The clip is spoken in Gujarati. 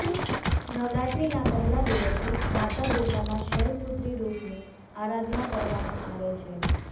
નવરાત્રીના પહેલા દિવસે માતા દુર્ગાના શૈલપુત્રી રૂપની આરાધના કરવામાં આવે છે